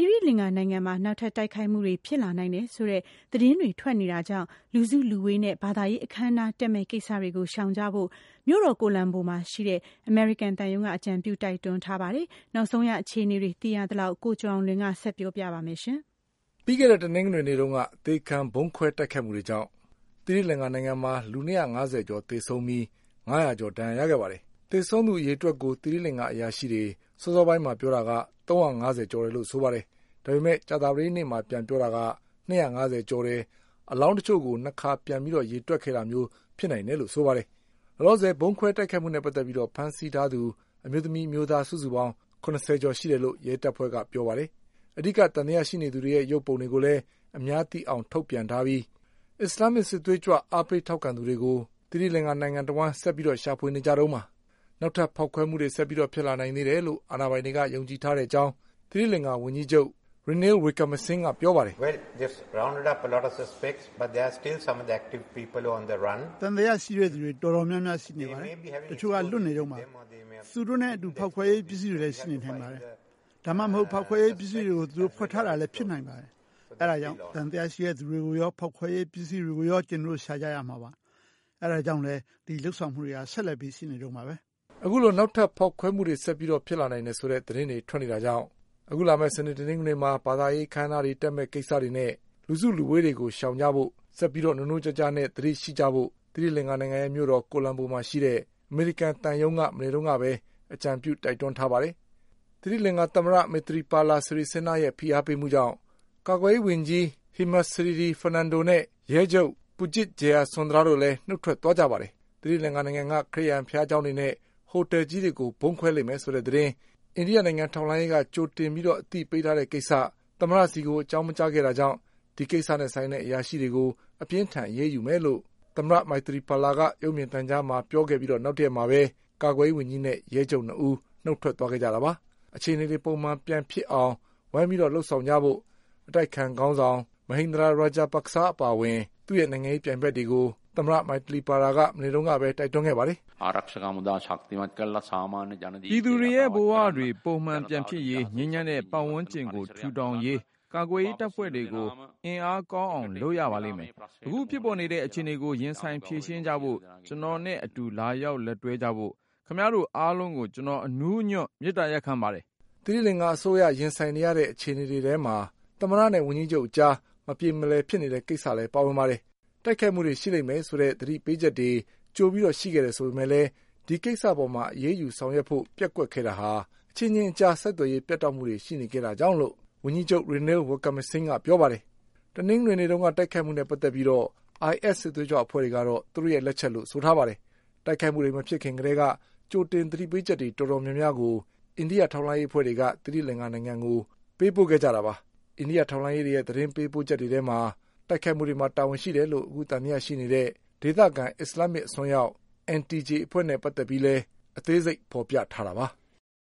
ီရိလင်္ကာနိုင်ငံမှာ နောက်ထပ်တိုက်ခိုက်မှုတွေဖြစ်လာနိုင်တယ်ဆိုတဲ့ သတင်းတွေ ထွက်နေတာကြောင့် လူစုလူဝေးတွေ နဲ့ ဘာသာရေးအခမ်းအနားတက်မယ့်ကိစ္စတွေကို ရှောင်ကြဖို့ မြို့တော် ကိုလံဘိုမှာရှိတဲ့ အမေရိကန်သံရုံးက အကြံပြု တိုက်တွန်းထားပါတယ်။ တိုက်ခိုက်မယ့် သူတွေ လွတ်နေသေးတယ်လို့လည်း သီရိလင်္ကာဝန်ကြီးချုပ်ကပြောပါတယ်။ နောက်ဆုံး အခြေအနေတွေ သိထားသလောက် ကိုကျော်အောင်လွင် ဆက်ပြောပါလိမ့်မယ်။ ပြီးခဲ့တဲ့ တနင်္ဂနွေနေ့တုန်းက အသေခံဗုံးခွဲတိုက်ခိုက်မှုတွေကြောင့် သီရိလင်္ကာနိုင်ငံမှာ လူ၂၅၀ကျော် သေဆုံးပြီး ငါးရာ ကျော်ဒဏ်ရာရခဲ့ပါတယ်။ သေဆုံးသူ အရေအတွက်ကို သီရိလင်္ကာအရာရှိတွေ စောစောပိုင်း ကပြောတာက ၃၅၀ကျော် တယ်လို့ဆိုပါတယ်။ ဒါပေမဲ့ ကြာသပတေးနေ့မှာ ပြန်ပြောတာက ၂၅၀ကျော်တယ်၊ အလောင်းတချို့ကို ၂ ခါ ပြန်ရေတွက်ခဲ့ တာမျိုး ဖြစ်နိုင်တယ် လို့ဆိုပါတယ်။ လောလောဆယ် ဗုံးခွဲတိုက်ခိုက်မှုနဲ့ ပတ်သက်ပြီးဖမ်းဆီးထားသူ အမျိုးသမီး၊ အမျိုးသား စုစုပေါင်း ၇၀ကျော်ရှိတယ်လို့ ရဲတပ်ဖွဲ့ကပြောပါတယ်။ အဓိက သံသယရှိသူတွေရဲ့ ရုပ်ပုံတွေကိုလည်း အများသိအောင် ထုတ်ပြန်ထားပြီး အစ္စလာမ်မစ်စစ်သွေးကြွတွေကို အားပေးထောက်ခံသူတွေကို နိုင်ငံတဝှမ်း ဆက်ပြီးရှာဖွေနေကြတုန်းပါ။ နောက်ထပ်ဖေါက်ခွဲမှုတွေ ဆက်ဖြစ်လာနိုင်သေးတယ်လို့ အာဏာပိုင်တွေက ယုံကြည်ထားတဲ့အကြောင်း သီရိလင်္ကာ ဝန် ကြီးချုပ် Ranil Wickremesinghe က ပြောပါတယ်။ “သံသယရှိတဲ့ သူတွေတော်တော် များများရှိပါတယ်။ တချို့ကလွတ်နေတုန်းပါ။ သူတို့နဲ့အတူ ဖေါက်ခွဲရေး ပစ္စည်းတွေလည်း ရှိနေနိုင်ပါတယ်။ ဒါမှမဟုတ် ဖေါက်ခွဲရေးပစ္စည်းတွေကို သူတို့ ဝှက်ထားတာလည်း ဖြစ်နိုင်ပါတယ်။ အဲဒါကြောင့် သံသယရှိ တဲ့သူတွေကိုရော ဖေါက်ခွဲရေး ပစ္စည်းတွေကိုရော ကျနော်တို့ရှာရမှာပါ။ အဲဒါကြောင့် ဒီလုပ်ဆောင်မှုတွေက ဆက်ပြီးရှိနေတုန်းပါပဲ။” အခုလို နောက်ထပ်ဖေါက်ခွဲမှုတွေ ဆက်ဖြစ်လာနိုင်တယ်ဆိုတဲ့ သတင်းတွေ ထွက်နေတာကြောင့် အခုလာမယ့် စနေ၊ တနင်္ဂနွေမှာ ဘာသာရေးအခမ်းအနားတွေတက်မယ့်ကိစ္စနဲ့ လူစုလူဝေးတွေကို ရှောင်ကြဖို့ ၊ ဆက်ပြီးနိုးနိုးကြားကြားနဲ့ သတိရှိ ကြဖို့ သီရိလင်္ကာရဲ့မြို့တော် ကိုလံဘိုမှာ ရှိတဲ့ အမေရိကန်သံရုံးက မနေ့ကပဲ အကြံပြုတိုက်တွန်းထားပါတယ်။ သီရိလင်္ကာ သမ္မတ Maithripala Sirisena ရဲ့ဖိအားပေးမှုကြောင့် ကာကွယ်ရေးဝန်ကြီး Hemasriri Fernando နဲ့ ရဲချုပ် Pujith Jayasundara လည်း နုတ်ထွက်သွားကြပါတယ်။ သီရိလင်္ကာနိုင်ငံက ခရစ်ယာန်ဘုရားကျောင်းတွေနဲ့ ဟိုတလ်ကြီးတွေကို ဗုံးခွဲလိမ့်မယ်ဆိုတဲ့သတင်း အိန္ဒိယ နိုင်ငံ ထောက်လှမ်းရေးက ကြိုပြီးအသိပေးထားတဲ့ကိစ္စ သမ္မတဆီကို အကြောင်းမကြားခဲ့တာ ကြောင့် ဒီကိစ္စနဲ့ ဆိုင်တဲ့အရာရှိတွေကို အပြင်းအထန်အရေးယူမယ်လို့ သမ္မတ Maithripala က ရုပ်မြင်သံကြားမှာ ပြောခဲ့ ပြီး နောက်တရက်မှာပဲ ကာကွယ်ရေးဝန်ကြီးနဲ့ ရဲချုပ်၂ဦး နုတ်ထွက် ခဲ့ကြတာပါ။ အခြေအနေတေ ွပုံမှန်ပြန်ဖြစ်အောင် ဝိုင်းပြီး လုပ်ဆောင်ကြဖို့ အတိုက်အခံခေါင်းဆောင် Mahinda Rajapaksa အပါအဝင် သူ့ရဲ့ နိုင်ငံရေးပြိုင်ဘက်တွေကို သမ္မတ Maithripala မနေ့က တိုက်တွန်းခဲ့ပါတယ်။ “ပြည်သူတွေရဲ့ဘဝတွေပုံမှန်ပြန်ဖြစ်ရေး ငြိမ်းချမ်းတဲ့ ပတ်ဝန်းကျင်ကိုထူထောင်ရေး ကာကွယ်ရေး တပ်ဖွဲ့တွေကို အင်အား ကောင်းအောင်လုပ်ရပါလိမ့်မယ်။ အခုဖြစ်ပေါ်နေတဲ့ အခြေအနေကို ရင်ဆိုင်ဖြေရှင်းကြဖို့ ကျနော်နဲ့ အတူလာရောက် လက်တွဲကြဖို့ ခင်ဗျားတို့အားလုံးကို ကျနော် အနူးအညွတ်မေတ္တာရပ်ခံပါတယ်” သီရိလင်္ကာအစိုးရ ရင်ဆိုင်နေရတဲ့အခြေအနေတွေထဲမှာ သမ္မတနဲ့ဝန်ကြီးချုပ်အကြား မပြေမလည်ဖြစ်နေတဲ့ ကိစ္စလည်းပါ ဝင်ပါတယ်။ တိုက်ခိုက်မှုတွေရှိလိမ့်မယ် ဆိုတဲ့သတိပေးချက်တွေ ကြိုပြီးရှိခဲ့တယ်ဆိုပေမဲ့ ဒီကိစ္စအပေါ်အရေးယူဆောင်ရွက် ဖို့ပျက်ကွက်ခဲ့တာဟာ အချင်းချင်း ဆက်သွယ်ရေး ပြတ်တောက်မှုတွေရှိခဲ့တာကြောင့်လို့ ဝန်ကြီးချုပ် Ranil Wickremesinghe က ပြောပါတယ်။ တနင်္ဂနွေနေ့ကတိုက်ခိုက်မှုတွေနဲ့ပတ်သက်ပြီး IS စစ်သွေးကြွအဖွဲ့ကတော့ သူတို့ရဲ့ လက်ချက်လို့ ပြောထားပါတယ်။ တိုက်ခိုက်မှုတွေမဖြစ်ခင်ကတည်းက ကြိုတင် သတိပေးချက်တွေ တော်တော်များများ အိန္ဒိယထောက်လှမ်းရေးအဖွဲ့တွေက သီရိလင်္ကာနိုင်ငံကို ပို့ခဲ့ကြတာပါ။ အိန္ဒိယထောက်လှမ်းရေးရဲ့ သတင်းပို့ချက်တွေ ထဲမှာ တိုက်ခိုက်မှုမှာ တာဝန်ရှိတယ်လို့ သံသယရှိနေတဲ့ ဒေသခံ အစ္စလာမ်မစ်အစွန်းရောက် NTJ အဖွဲ့နဲ့ပတ်သက်ပြီး အသေးစိတ် ဖေါ်ပြထားတာပါ။